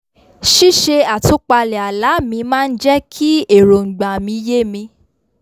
ṣíṣe àtúpalẹ̀ àlá mi máa n jẹ́ kí èròngbà mi yé mi